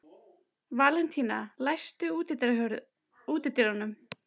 Valentína, læstu útidyrunum.